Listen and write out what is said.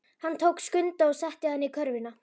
Hann tók Skunda og setti hann í körfuna.